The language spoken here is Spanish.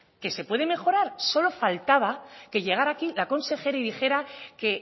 que se puede mejorar solo faltaba que llegara aquí la consejera y dijera que